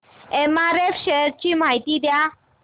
MRF shares ची माहिती द्या